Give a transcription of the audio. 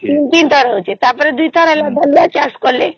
ତିନି ତିନି ଥର ହଉଛେ ତା ପରେ ଦୁଇଟି ଦୁଇଟି ଥର ବେଳିଆ ଚାଷ କଲେ